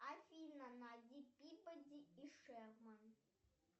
афина найди пибоди и шерман